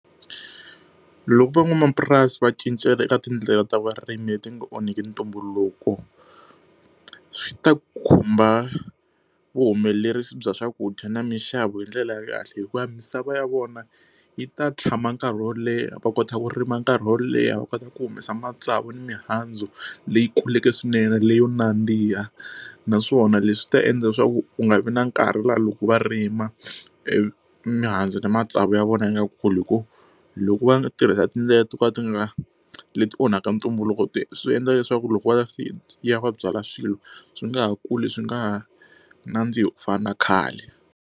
Loko van'wamapurasi va cincela eka tindlela ta vurimi leti nga onhaki ntumbuluko swi ta khumba vuhumelerisi bya swakudya na mixavo hi ndlela ya kahle hikuva misava ya vona yi ta tshama nkarhi wo leha va kota ku rima nkarhi wo leha va kota ku humesa matsavu na mihandzu leyi kuleke swinene leyo nandziha naswona leswi ta endla leswaku u nga vi na nkarhi laha loko va rima e mihandzu na matsavu ya vona yi nga kuli hi ku loko va tirhisa tindlela to ka ti nga leti onhaka ntumbuluko ti swi endla leswaku loko va ya va byala swilo swi nga ha kuli swi nga ha nandzihi ku fana na khale.